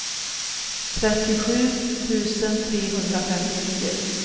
trettiosju tusen trehundrafemtionio